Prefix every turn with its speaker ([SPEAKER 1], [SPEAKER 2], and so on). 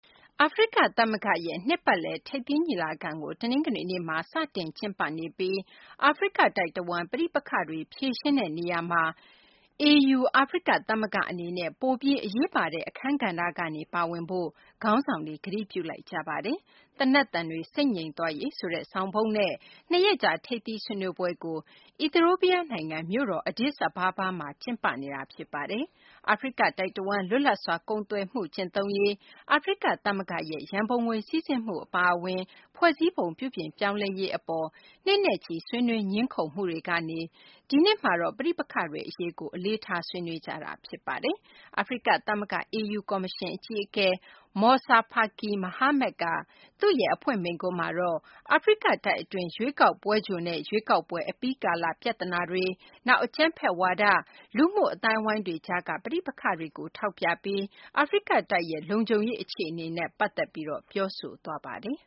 [SPEAKER 1] အာဖရိကသမဂ္ဂရဲ့ နှစ်ပတ်လည် ထိပ်သီးညီလာခံကို တနင်္ဂနွေနေ့က စတင်ကျင်းပနေပြီး အာဖရိကတိုက်တဝန်း ပဋိပက္ခတွေကို ဖြေရှင်းတဲ့နေရာမှာ အာဖရိကသမဂ္ဂအနေနဲ့ ပိုပြီး အရေးပါတဲ့ အခန်းကဏ္ဍကနေ ပါဝင်ဖို့ ခေါင်းဆောင်တွေက ကတိပြုလိုက်ကြပါတယ်။ သေနတ်သံတွေ ဆိတ်ငြိမ်သွားရေးဆိုတဲ့ ဆောင်ပုဒ်နဲ့ ၂ ရက်ကြာ ထိပ်သီး ဆွေးနွေးပွဲကို အီသီယိုးပီးယားနိုင်ငံ မြို့တော် Addis Ababa မှာ ကျင်းပနေတာ ဖြစ်ပါတယ်။ အာဖရိကတိုက်တဝန်း လွတ်လပ်စွာ ကုန်သွယ်မှု ကျင့်သုံးရေး၊ အာဖရိကသမဂ္ဂရဲ့ ရန်ပုံငွေစီးဆင်းမှု အပါအဝင် ဖွဲ့စည်းပုံ ပြုပြင်ပြောင်းလဲရေးအပေါ် နှစ်နဲ့ချီ ဆွေးနွေးငြင်းခုံမှုတွေကနေ ဒီနှစ်မှာတော့ ပဋိပက္ခတွေအရေးကို အလေးထား ဆွေးနွေးကြတာ ဖြစ်ပါတယ်။ အာဖရိကသမဂ္ဂ (AU) ကော်မရှင်အကြီးအကဲ Moussa Faki Mahamat က သူ့ရဲ့ အဖွင့်မိန့်ခွန်းမှာတော့ အာဖရိကတိုက်အတွင်း ရွေးကောက်ပွဲကြိုနဲ့ ရွေးကောက်ပွဲ အပြီးကာလ ပြဿနာတွေ၊ နောက် အကြမ်းဖက်ဝါဒ၊ လူမှုအသိုင်းအဝိုင်းတွေကြားက ပဋိပက္ခတွေကို ထောက်ပြပြီး အာဖရိကတိုက်ရဲ့ လုံခြုံရေးအခြေအနေ
[SPEAKER 2] နဲ့ ပတ်သက်ပြီး ပြောဆိုသွားပါတယ်